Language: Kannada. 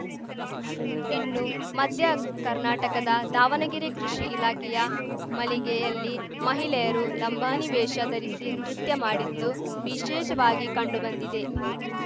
ಇನ್ನು ಮಧ್ಯ ಕರ್ನಾಟಕದ ದಾವಣಗೆರೆ ಕೃಷಿ ಇಲಾಖೆಯ ಮಳಿಗೆಯಲ್ಲಿ ಮಹಿಳೆಯರು ಲಂಬಾಣಿ ವೇಷ ಧರಿಸಿ ನೃತ್ಯ ಮಾಡಿದ್ದು ವಿಶೇಷವಾಗಿ ಕಂಡು ಬಂದಿದೆ